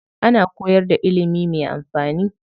Ana koyar da ilimi mai amfani.